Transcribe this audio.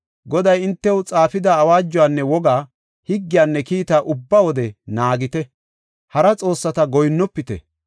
Goday hintew xaafida awaajuwanne wogaa, higgiyanne kiitaa ubba wode naagite; hara xoossata goyinnofite.